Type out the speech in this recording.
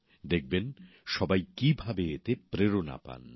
দেখবেন সবাই কীভাবে এতে প্রেরণা পান